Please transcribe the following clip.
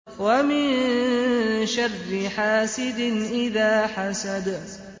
وَمِن شَرِّ حَاسِدٍ إِذَا حَسَدَ